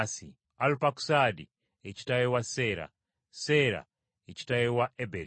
Alupakusaadi ye kitaawe wa Seera. Seera ye kitaawe wa Eberi.